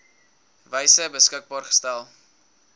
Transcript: wyse beskikbaar gestel